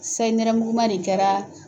Sayi nɛrɛmuguma de kɛra